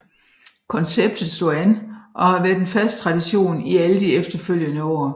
Konceptet slog an og har været en fast tradition i alle de efterfølgende år